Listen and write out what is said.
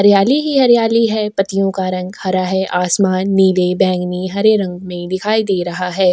हरियाली ही हरियाली है पत्तियों का रंग हरा है आसमान नीले बैंगनी हरे रंग में दिखाई दे रहा है।